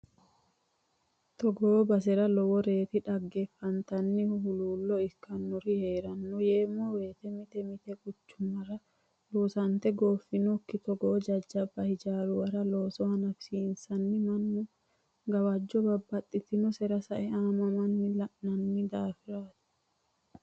Togo basera loworeti dhaggeffattanihu huluulo ikkanorino heerano yeemmo woyte mite mite quchumara loosante gooofinokki togo jajjabba hijaaruwara looso hanafisiisenna mannu gawajo babbaxxitinotera sae aamamanna la'nanni daafirati.